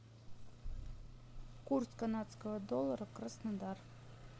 курс канадского доллара краснодар